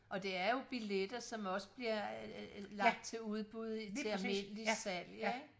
Og det er jo billetter som også bliver øh lagt til udbud til almindeligt salg ikke